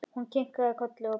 Hún kinkaði kolli og brosti.